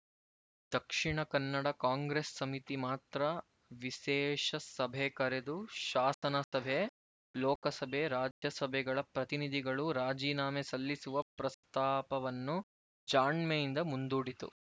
ದಕ್ಷಿಣ Kannada Congress ಸಮಿತಿ ಮಾತ್ರ ವಿಸೇಷ ಸಭೆ ಕರೆದು ಶಾಸನ ಸಭೆ ಲೋಕಸಭೆ ರಾಜ್ಯ ಸಭೆಗಳ ಪ್ರತಿನಿಧಿಗಳು ರಾಜೀನಾಮೆ ಸಲ್ಲಿಸುವ ಪ್ರಸ್ತಾಪವನ್ನು ಜಾಣ್ಮೆಯಿಂದ ಮುಂದೂಡಿತು